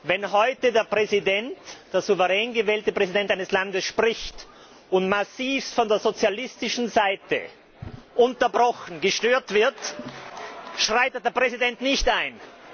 Wenn heute der Präsident, der souverän gewählte Präsident eines Landes, spricht und massivst von der sozialistischen Seite unterbrochen und gestört wird, schreitet der Präsident nicht ein.